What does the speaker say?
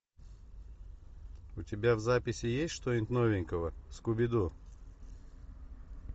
у тебя в записи есть что нибудь новенькое скуби ду